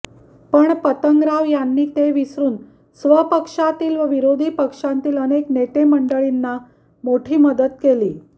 पण पतंगराव यांनी ते विसरुन स्वपक्षातील व विरोधी पक्षांतील अनेक नेते मंडळींना मोठी मदत केली